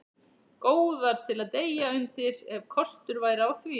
Góðar til að deyja undir, ef kostur væri á því.